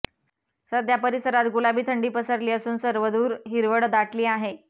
सध्या परिसरात गुलाबी थंडी पसरली असून सर्वदूर हिरवळ दाटली आहे